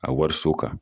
A wariso kan